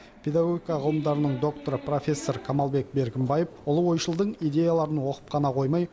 педагогика ғылымдарының докторы профессор камалбек беркімбаев ұлы ойшылдың идеяларын оқып қана қоймай